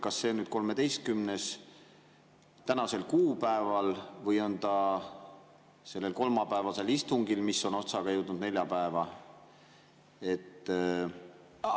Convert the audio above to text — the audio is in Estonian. Kas see on nüüd 13. tänasel kuupäeval või sellel kolmapäevasel istungil, mis on otsaga jõudnud neljapäeva?